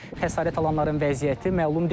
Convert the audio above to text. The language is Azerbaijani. Xəsarət alanların vəziyyəti məlum deyil.